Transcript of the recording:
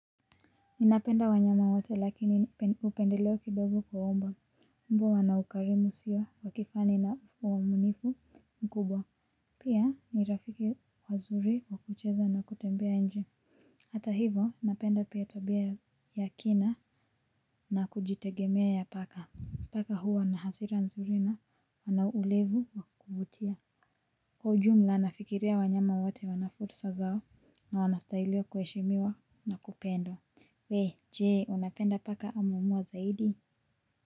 Ninapenda wanyama wote lakini upendeleo kidogo kwa mbwa, mbwa wana ukarimu usio wa kifani na uwaminifu mkubwa. Pia ni rafiki wazuri wakucheza na kutembea nje. Hata hivo napenda pia tabia ya kina na kujitegemea ya paka. Paka huwa na hasira nzuri na wana ulevu wa kuvutia. Kwa ujumla nafikiria wanyama wote wana fursa zao na wanastahiliwa kuheshimiwa na kupendwa. We, jee, unapenda paka ama uma zaidi?